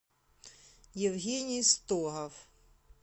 евгений стогов